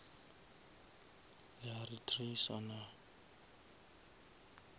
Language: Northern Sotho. le a re tracer naa